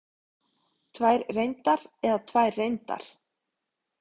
Tvær reyndar eða tvær reyndar?